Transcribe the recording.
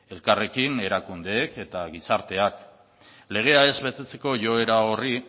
elkarrekin erakundeek eta gizarteak legea ez betetzeko joera horri